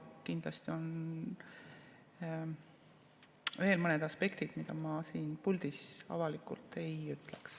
Kindlasti on veel mõned aspektid, mida ma siin puldis avalikult ei ütleks.